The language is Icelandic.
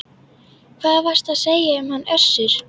Hvað varstu að segja um hann Össur?